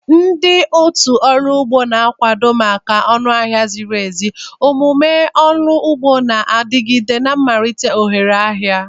Ndị otu ndị ọrụ ugbo na-akwado maka ọnụ ahịa ziri ezi, omume ọrụ ugbo na-adigide, na imelite ohere ahịa.